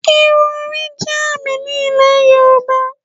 Irun orí jẹ́ àmì ní Ilẹ̀ Yorùbá